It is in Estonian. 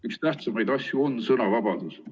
Üks tähtsamaid asju on sõnavabadus.